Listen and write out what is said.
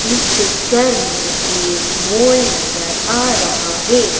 इस पिक्चर में एक मोल नजर आ रहा है।